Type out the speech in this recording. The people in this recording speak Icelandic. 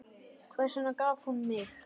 Hvers vegna gaf hún mig?